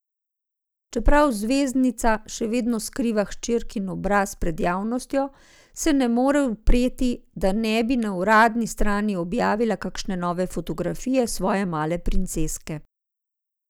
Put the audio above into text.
Čeprav zvezdnica še vedno skriva hčerkin obraz pred javnostjo, se ne more upreti, da ne bi na uradni strani objavila kakšne nove fotografije svoje male princeske.